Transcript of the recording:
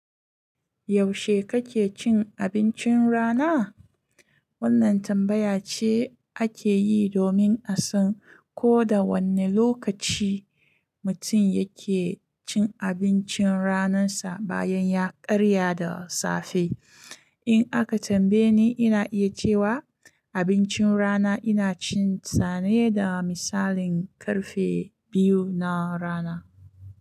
Yaushe kake cin abincin rana? Wannan tambaya ce ake yi domin a san ko da wanne lokaci mutum yake cin abincin ranansa bayan ya karya da safe. In aka tambaye ni, ina iya cewa abincin rana ina cin sa ne da misalin karfe biyu na rana.